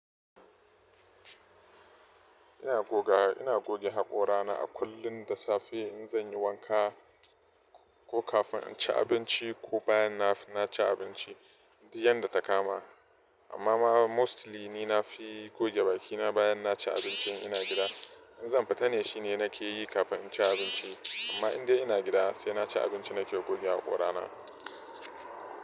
Ina goga, ina goge haƙorana a kullum da safe in zan yi wanka ko kafin in ci abinci ko bayan na, na ci abinci, duk yadda ta kama. Amma mostly ni na fi goge bakina bayan na ci abincin ina gida. In zan fita ne shine nake yi kafin in ci abinci. Amma idan ina gida sai na ci abinci nake goge haƙorana.